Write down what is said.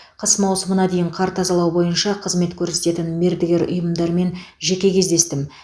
қыс маусымына дейін қар тазалау бойынша қызмет көрсететін мердігер ұйымдармен жеке кездестім